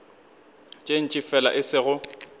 tše ntši fela e sego